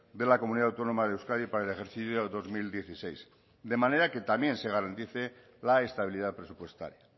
de la comunidad autónoma de euskadi para el ejercicio dos mil dieciséis de manera que también se garantice la estabilidad presupuestaria